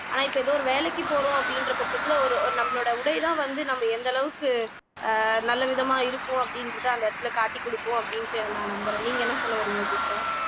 ஆனா இப்ப ஏதோ ஒரு வேலைக்கு போறோம் அப்படின்ற பட்சத்துல ஒரு ஒரு நம்மளோட உடைதான் வந்து நம்ம எந்த அளவுக்கு ஆஹ் நல்ல விதமா இருக்கும் அப்படின்றதை அந்த இடத்துல காட்டிக் கொடுக்கும் அப்படின்னுட்டு நான் நம்பறேன் நீங்க என்ன சொல்ல வர்றீங்க துர்கா